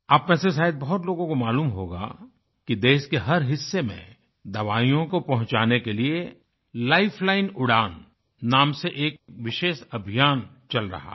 आप में से शायद बहुत लोगों को मालूम होगा कि देश के हर हिस्से में दवाईयों को पहुँचाने के लिए लाइफलाइन उदन लाइफलाइन उड़ान नाम से एक विशेष अभियान चल रहा है